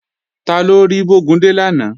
Taló rí Bógúndé lánàá?